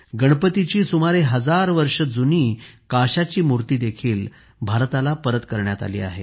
गणपतीची सुमारे हजार वर्ष जुनी काशाची मूर्ती देखील भारताला परत करण्यात आली आहे